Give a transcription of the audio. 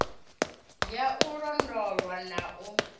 ya u londolwa na u